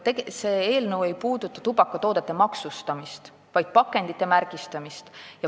See ei puuduta tubakatoodete maksustamist, vaid pakendite märgistamist.